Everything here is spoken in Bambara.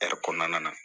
kɔnɔna na